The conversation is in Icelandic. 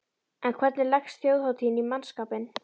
En hvernig leggst þjóðhátíðin í mannskapinn?